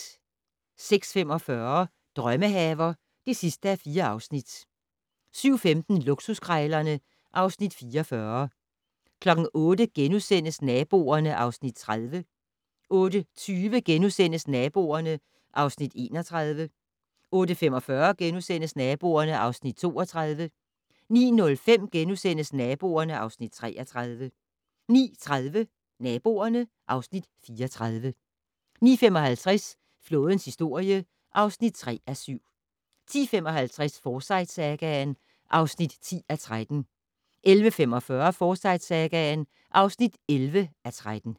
06:45: Drømmehaver (4:4) 07:15: Luksuskrejlerne (Afs. 44) 08:00: Naboerne (Afs. 30)* 08:20: Naboerne (Afs. 31)* 08:45: Naboerne (Afs. 32)* 09:05: Naboerne (Afs. 33)* 09:30: Naboerne (Afs. 34) 09:55: Flådens historie (3:7) 10:55: Forsyte-sagaen (10:13) 11:45: Forsyte-sagaen (11:13)